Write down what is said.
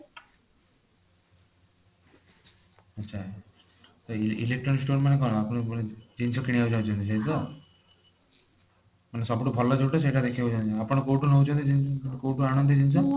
ଆଚ୍ଛା ତ electronics store ମାନେ କଣ ଆପଣ କଣ ଜିନିଷ କିଣିବାକୁ ଚହୁଁଛନ୍ତି ଏୟା ତ ମାନେ ସବୁଠୁ ଭଲ ଜୋଊଟା ସେଇଟା ଦେଖିବାକୁ ଚହୁଁଛନ୍ତି ଆପଣ କୋଊଠି ରହୁଛନ୍ତି ଊଁ କୋଊଠୁ ଆଣନ୍ତି ଜିନିଷ